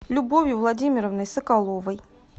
любовью владимировной соколовой